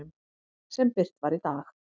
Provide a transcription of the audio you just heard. sem birt var í dag.